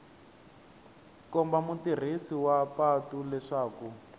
komba mutirhisi wa patu leswaku